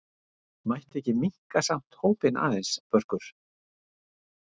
Mætti ekki minnka samt hópinn aðeins Börkur?